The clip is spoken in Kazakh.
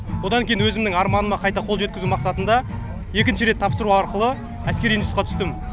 одан кейін өзімнің арманыма қайта қол жеткізу мақсатында екінші рет тапсыру арқылы әскери институтқа түстім